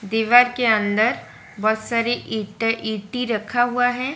दीवार के अंदर बहुत सारी ईंटें ईटी रखा हुआ है।